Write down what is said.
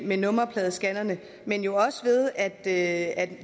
med nummerpladescannerne men jo også ved at